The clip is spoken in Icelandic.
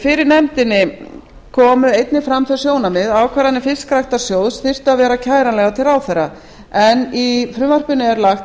fyrir nefndinni komu einnig fram þau sjónarmið að ákvarðanir fiskræktarsjóðs þyrftu að vera kæranlegar til ráðherra en í frumvarpinu er lagt